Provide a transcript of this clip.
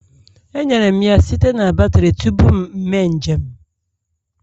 Enyere m ya site na batrị tupu m eme njem